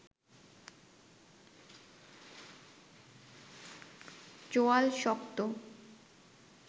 চোয়াল শক্ত